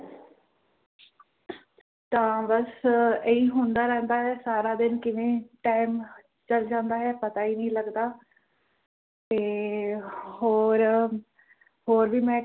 ਤਾ ਬਸ ਏਹੀ ਹੁੰਦਾ ਰਹਿੰਦਾ ਹੈ ਸਾਰਾ ਦਿਨ ਕਿਵੇਂ ਟਾਈਮ ਚਲ ਜਾਂਦਾ ਹੈ ਪਤਾ ਹੀ ਨਹੀਂ ਲੱਗਦਾ ਤੇ ਹੋਰ ਹੋਰ ਵੀ ਮੈਂ